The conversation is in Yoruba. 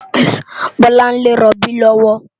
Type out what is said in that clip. Bolanle ló n ròbí lòwò